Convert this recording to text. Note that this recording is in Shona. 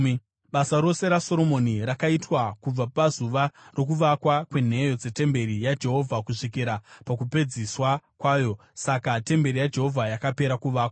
Basa rose raSoromoni rakaitwa kubva pazuva rokuvakwa kwenheyo dzetemberi yaJehovha kusvikira pakupedziswa kwayo. Saka temberi yaJehovha yakapera kuvakwa.